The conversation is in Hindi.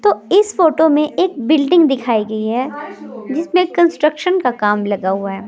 तो इस फोटो में एक बिल्डिंग दिखाई गई है जिसमें कंस्ट्रक्शन का काम लगा हुआ है।